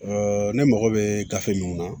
ne mago bɛ gafe mun na